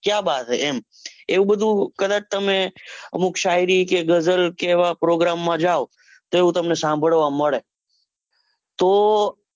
ક્યાં બાત હે એમ એવું બધું કદાચ તમે લોકશાયરી કે ઘઝલ કે એવા ના program માં જાઓ તો એવું તમને સાંભળવા મળે તો,